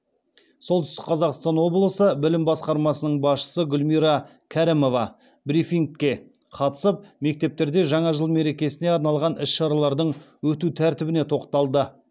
солтүстік қазақстан облысы білім басқармасының басшысы гүлмира кәрімова брифингке қатысып мектептерде жаңа жыл мерекесіне арналған іс шаралардың өту тәртібіне тоқталды